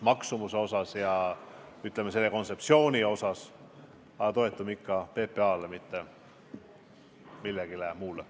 Kogu selle kontseptsiooni osas me aga toetume ikka PPA-le, mitte kellelegi muule.